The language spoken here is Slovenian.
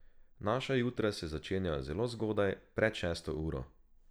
Naša jutra se začenjajo zelo zgodaj, pred šesto uro.